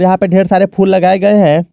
वहां पे ढेर सारे फूल लगाए गए हैं।